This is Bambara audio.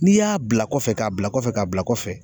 N'i y'a bila kɔfɛ k'a bila kɔfɛ k'a bila kɔfɛ.